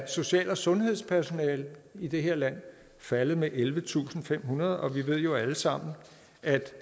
social og sundhedssektoren i det her land faldet med ellevetusinde og femhundrede og vi ved jo alle sammen at